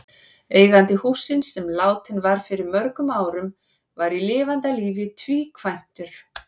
Eigandi hússins, sem látinn var fyrir mörgum árum, var í lifanda lífi tvíkvæntur.